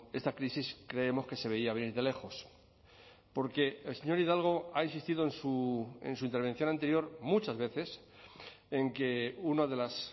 esta crisis creemos que se veía venir de lejos porque el señor hidalgo ha insistido en su intervención anterior muchas veces en que una de las